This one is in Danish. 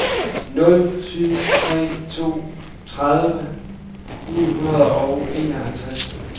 nul syv tre to tredive ni hundrede og enoghalvtreds